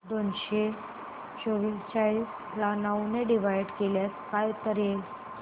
दोनशे चौवेचाळीस ला नऊ ने डिवाईड केल्यास काय उत्तर येईल